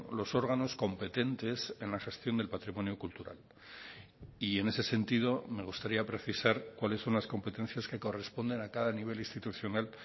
los órganos competentes en la gestión del patrimonio cultural y en ese sentido me gustaría precisar cuáles son las competencias que corresponden a cada nivel institucional